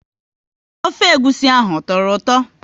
Ofe egwusi ahụ ọ tọrọ ụtọ?